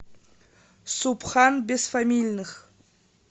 субхан бесфамильных